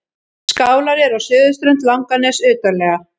Skálar eru á suðurströnd Langaness utarlega.